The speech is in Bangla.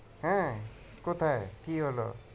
হ্যাঁ কোথায় কি হলো?